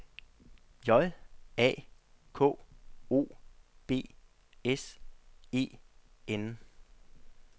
J A K O B S E N